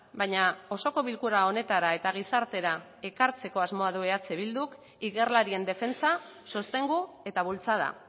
baina osoko bilkura honetara eta gizartera ekartzen asmoa du eh bilduk ikerlarien defentsa sostengu eta bultzada